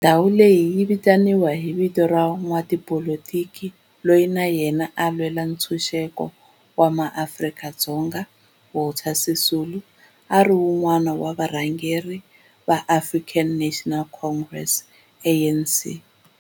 Ndhawo leyi yi vitaniwa hi vito ra n'watipolitiki loyi na yena a lwela ntshuxeko wa maAfrika-Dzonga Walter Sisulu, a ri wun'wana wa varhangeri va African National Congress, ANC.